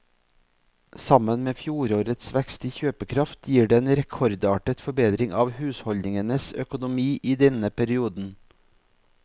Sammen med fjorårets vekst i kjøpekraft gir det en rekordartet forbedring av husholdningenes økonomi i denne perioden.